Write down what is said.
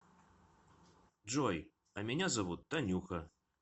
джой а меня зовут танюха